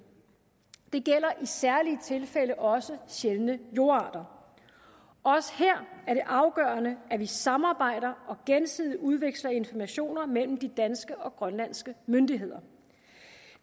det gælder i særlige tilfælde også sjældne jordarter også her er det afgørende at vi samarbejder og gensidigt udveksler informationer mellem de danske og grønlandske myndigheder